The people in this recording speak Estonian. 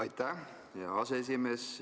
Aitäh, hea aseesimees!